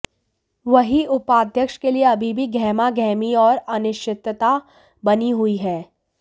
वहीं उपाध्यक्ष के लिये अभी भी गहमा गहमी और अनिश्चितता बनी हुई है